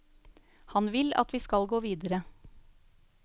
Han vil at vi skal gå videre.